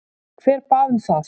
Hver bað um það?